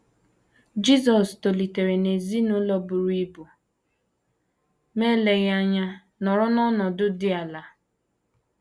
Jisọs tolitere n’ezinụlọ buru ibu, ma eleghị anya nọrọ n’ọnọdụ dị ala